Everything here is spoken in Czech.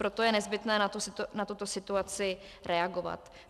Proto je nezbytné na tuto situaci reagovat.